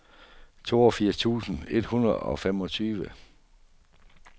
toogfirs tusind et hundrede og femogtyve